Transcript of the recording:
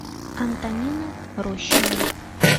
антонины рощиной